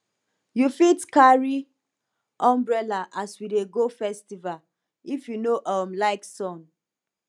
you fit carry umbrella as we dey go festival if you no um like sun